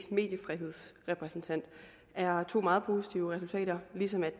mediefrihedsrepræsentant det er to meget positive resultater ligesom